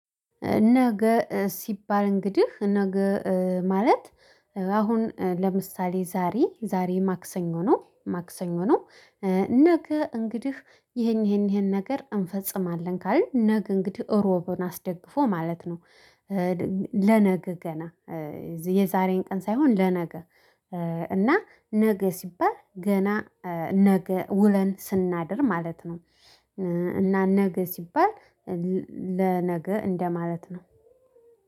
ነገ ሲባል እንግዲህ ነገ ማለት አሁን ለምሳሌ ዛሬ ዛሬ ማክሰኞ ነው ማክሰኞ ነው። ነገ እንግዲህ ይሄን ይሄን ይሄን ነገር እንፈፅማለን ካልን ነገ እንግዲህ እሮብን አስደግፎ ማለት ነው። ለነገ ገና የዛሬን ቀን ሳይሆን ለነገ እና ነገ ሲባል ገና ነገ ውለን ስናድር ማለት ነው። እና ነገ ሲባል ለነገ እንደማለት ነው።